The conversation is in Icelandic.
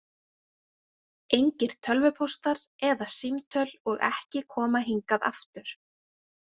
Engir tölvupóstar eða símtöl og ekki koma hingað aftur.